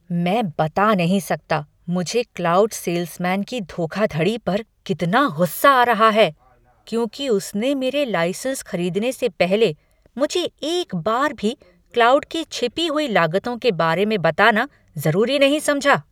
मैं बता नहीं सकता मुझे क्लाउड सेल्समैन की धोखाधड़ी पर कितना गुस्सा आ रहा है, क्योंकि उसने मेरे लाइसेंस खरीदने से पहले मुझे एक बार भी क्लाउड की छिपी हुई लागतों के बारे में बताना ज़रूरी नहीं समझा।